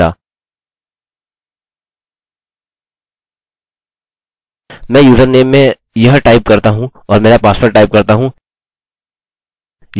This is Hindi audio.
मैं username में यह टाइप करता हूँ और मेरा पासवर्ड टाइप करता हूँ यह दर्शाएगा that user doesnt exists!